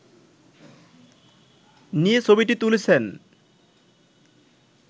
নিয়ে ছবিটি তুলেছেন